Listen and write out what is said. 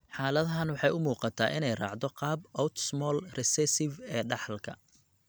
Xaaladahan, waxa ay u muuqataa in ay raacdo qaabka autosomal recessive ee dhaxalka.